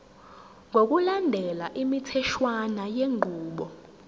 ngokulandela imitheshwana yenqubo